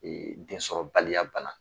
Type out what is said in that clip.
Densɔrɔbaliya bana